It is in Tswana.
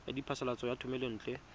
ya phasalatso ya thomelontle le